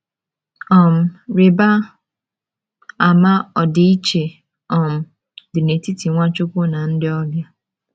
um Rịba ama ọdịiche um dị n’etiti Nwachukwu na ndị ọbịa.